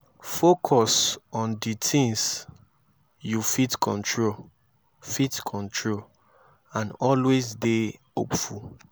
focus on di things yu fit control fit control and always dey hopeful